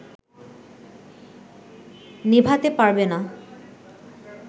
নেভাতে পারবে না